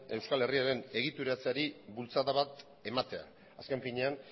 euskal herriaren egituratzeari bultzada bat ematea azken finean